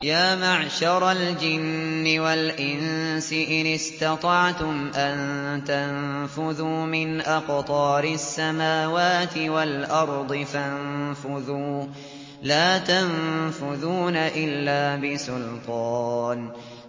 يَا مَعْشَرَ الْجِنِّ وَالْإِنسِ إِنِ اسْتَطَعْتُمْ أَن تَنفُذُوا مِنْ أَقْطَارِ السَّمَاوَاتِ وَالْأَرْضِ فَانفُذُوا ۚ لَا تَنفُذُونَ إِلَّا بِسُلْطَانٍ